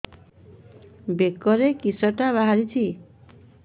ବେକରେ କିଶଟା ବାହାରିଛି